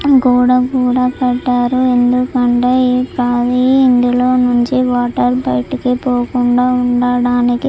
గోడ కూడా పెట్టారు ఎందుకంటే ఇందులో నుంచి వాటర్ బయటకు పోకుండా ఉండడానికి.